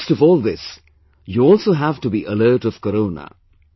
In the midst of all this, you also have to be alert of Corona